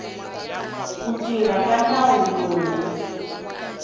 ku tirha ka nawu lowu